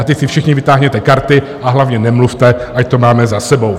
A teď si všichni vytáhněte karty, a hlavně nemluvte, ať to máme za sebou!